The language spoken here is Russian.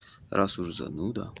раз уже зануда